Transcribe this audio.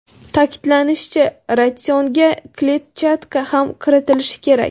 Ta’kidlanishicha, ratsionga kletchatka ham kiritilishi kerak.